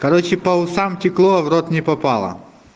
короче по усам текло в рот не попало